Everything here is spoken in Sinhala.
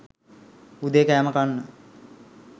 උදේ කෑම කන්න